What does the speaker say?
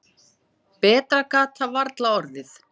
Betra gat það varla orðið.